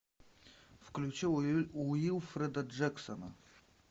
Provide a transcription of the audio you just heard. включи уилфреда джексона